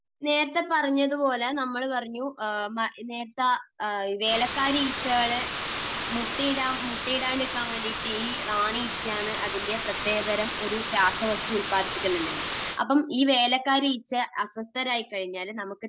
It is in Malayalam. നേരത്തെ പറഞ്ഞതുപോലെ, നമ്മൾ പറഞ്ഞു, നേരത്തെ വേലക്കാരി ഈച്ചകൾ മുട്ടയിടാതിരിക്കാൻ വേണ്ടി റാണി ഈച്ചകൾ അതിന്റെ പ്രത്യേകതരം ഒരു രാസവസ്തു ഉൽപ്പാദിപ്പിക്കുന്നുണ്ട്. അപ്പോൾ ഈ വേലക്കാരി ഈച്ചകൾ അസ്വസ്ഥരായിക്കഴിഞ്ഞാൽ നമുക്ക്